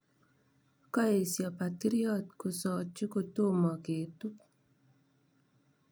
Koesyo patiryot kosochi kotomo ketup.